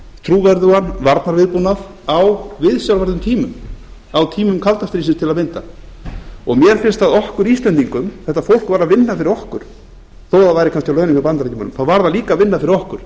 trúverðugan varnarviðbúnað á viðsjárverðum tímum á tímum kalda stríðsins til að mynda mér finnst að okkur íslendingum þetta fólk var að vinna fyrir okkur þó það væri kannski á launum hjá bandaríkjamönnum þá var það líka að vinna fyrir okkur